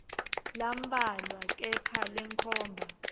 lambalwa kepha lenkhomba